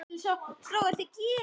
Sólgerður, hvernig er veðrið í dag?